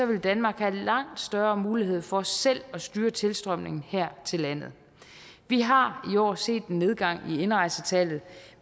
vil danmark have langt større mulighed for selv at styre tilstrømningen her til landet vi har i år set en nedgang i indrejsetallet